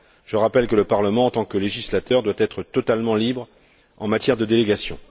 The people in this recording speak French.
Je rappelle que le Parlement en tant que législateur doit être totalement libre en matière de délégation.